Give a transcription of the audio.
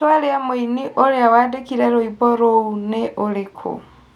rĩtwa rĩa mũini ũrĩa wandĩkire rwĩmbo rũu nĩ ũrĩkũ